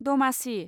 दमासि